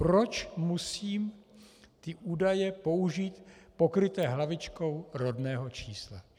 Proč musí být údaje použity pokryté hlavičkou rodného čísla?